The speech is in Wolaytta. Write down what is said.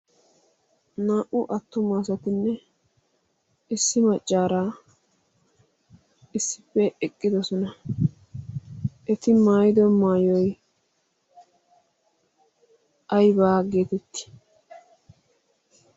Naa"u attuma asatinne issi maccaara issippe eqqidosona. Eti. maayido maayoyi aybaa geetettii?